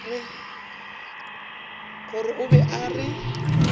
gore o be a re